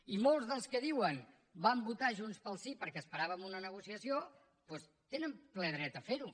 i molts dels que diuen que van votar junts pel sí perquè esperaven una negociació doncs tenen ple dret a ferho